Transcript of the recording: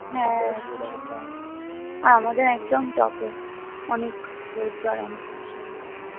হ্যাঁ সেটাই আর আমাদের একদম টপে অনেক রোদ